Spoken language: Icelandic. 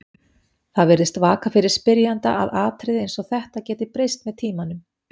Það virðist vaka fyrir spyrjanda að atriði eins og þetta geti breyst með tímanum.